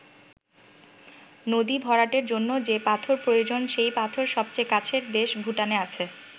নদী ভরাটের জন্য যে পাথর প্রয়োজন সেই পাথর সবচেয়ে কাছের দেশ ভুটানের আছে।